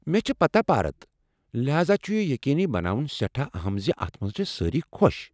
مےٚ چھےٚ پہارتھ ، لحاذا چھُ یہ یقیٖنی بناوُن سٮ۪ٹھاہ اہم زِ اتھ منٛز چھ سٲری خۄش۔